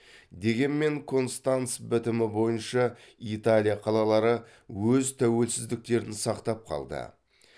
дегенмен констанц бітімі бойынша италия қалалары өз тәуелсіздіктерін сақтап қалды